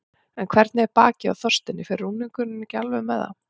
En hvernig er bakið á Þorsteini, fer rúningurinn ekki alveg með það?